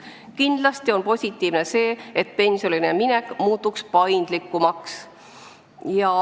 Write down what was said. Kindlasti on positiivne see, et pensionile minek muutub paindlikumaks.